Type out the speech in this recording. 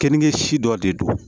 Kenige si dɔ de don